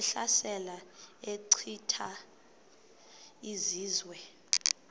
ehlasela echitha izizwe